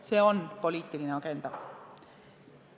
See on poliitiline agenda.